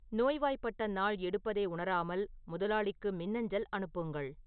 நோய்வாய்ப்பட்ட நாள் எடுப்பதை உணராமல் முதலாளிக்கு மின்னஞ்சல் அனுப்புங்கள்